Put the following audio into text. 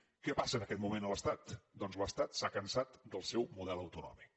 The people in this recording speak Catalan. què passa en aquest moment a l’estat doncs l’estat s’ha cansat del seu model autonòmic